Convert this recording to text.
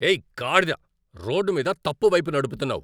ఏయ్, గాడిద. రోడ్డు మీద తప్పు వైపు నడుపుతున్నావు.